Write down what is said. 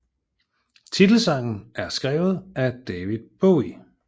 Titelsangen er skrevet af David Bowie